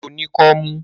Ṣé o ní kọ́mú?